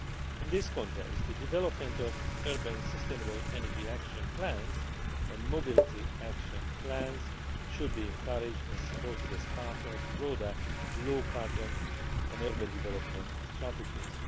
In this context, the development of urban sustainable energy action plans and mobility action plans should be encouraged and supported as part of broader low carbon and urban development strategies.